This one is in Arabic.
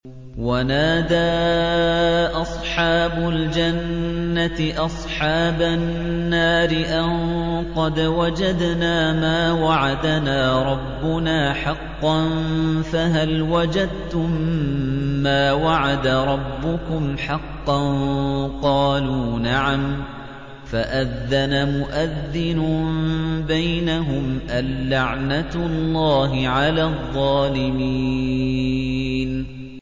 وَنَادَىٰ أَصْحَابُ الْجَنَّةِ أَصْحَابَ النَّارِ أَن قَدْ وَجَدْنَا مَا وَعَدَنَا رَبُّنَا حَقًّا فَهَلْ وَجَدتُّم مَّا وَعَدَ رَبُّكُمْ حَقًّا ۖ قَالُوا نَعَمْ ۚ فَأَذَّنَ مُؤَذِّنٌ بَيْنَهُمْ أَن لَّعْنَةُ اللَّهِ عَلَى الظَّالِمِينَ